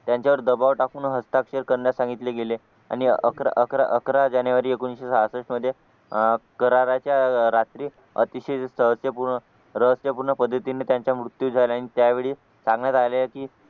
त्यांच्यावर दबाव टाकून हस्ताक्षर करण्यास सांगितले गेले आणि अकरा अकरा अकरा जानेवारी एकोणीशे सहासष्ठ मध्ये अह कराराच्या रात्री अतिशय रहस्य रहस्य पूर्ण पद्धतीने त्यांचा मृत्यू झाला आणि त्यावेळी सांगण्यात आले की